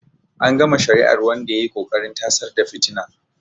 An gama shari'ar wanda ya yi ƙoƙarin tasar da fitina.